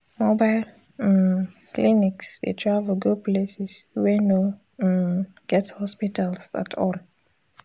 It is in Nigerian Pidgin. mobile um clinics dey travel go places wey no um get hospitals at all.